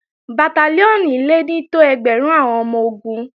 Bàtálíọ̀nì le ní tó ẹgbẹ̀rún àwọn ọmọ-ogun